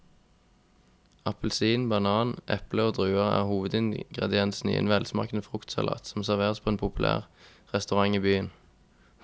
Appelsin, banan, eple og druer er hovedingredienser i en velsmakende fruktsalat som serveres på en populær restaurant i byen.